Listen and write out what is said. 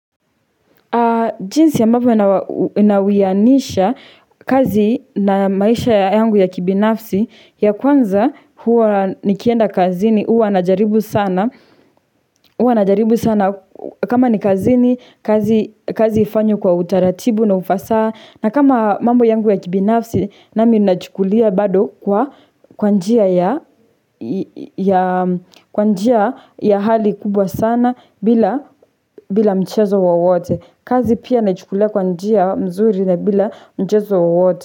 Jinsi ambavyo nawianisha kazi na maisha yangu ya kibinafsi ya kwanza huwa nikienda kazini huwa najaribu sana kama ni kazini kazi ifanywe kwa utaratibu na ufasaha na kama mambo yangu ya kibinafsi nami nachukulia bado kwa kwa njia ya kwa njia ya hali kubwa sana bila mchezo wowote. Kazi pia naichukulia kwa njia mzuri na bila mchezo wowote.